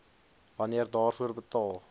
wanneer daarvoor betaal